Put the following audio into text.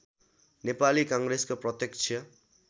नेपाली काङ्ग्रेसको प्रत्यक्ष